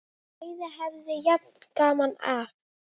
Bæði höfðu jafn gaman af!